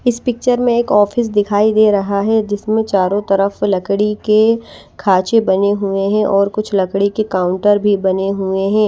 इस पिक्चर में एक ऑफिस दिखाई दे रहा है जिसमें चारों तरफ लकड़ी के खाचे बने हुए हैं और कुछ लकड़ी के काउंटर भी बने हुए हैं।